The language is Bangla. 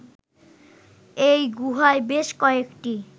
এই গুহায় বেশ কয়েকটি